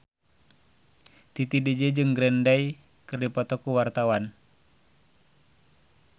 Titi DJ jeung Green Day keur dipoto ku wartawan